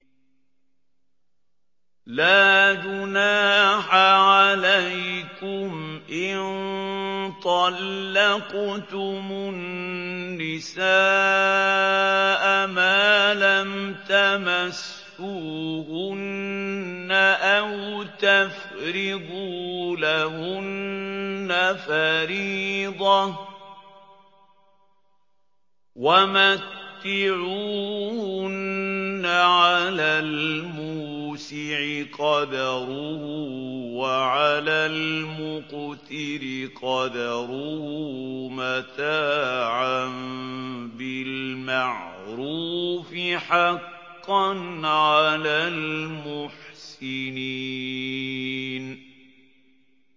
لَّا جُنَاحَ عَلَيْكُمْ إِن طَلَّقْتُمُ النِّسَاءَ مَا لَمْ تَمَسُّوهُنَّ أَوْ تَفْرِضُوا لَهُنَّ فَرِيضَةً ۚ وَمَتِّعُوهُنَّ عَلَى الْمُوسِعِ قَدَرُهُ وَعَلَى الْمُقْتِرِ قَدَرُهُ مَتَاعًا بِالْمَعْرُوفِ ۖ حَقًّا عَلَى الْمُحْسِنِينَ